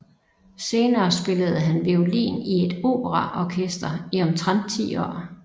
Senere spillede han violin i et operaorkester i omtrent ti år